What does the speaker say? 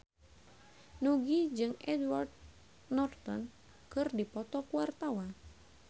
Nugie jeung Edward Norton keur dipoto ku wartawan